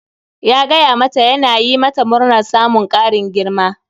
Ya gaya ma ta yana yi mata murnar samun ƙarin girma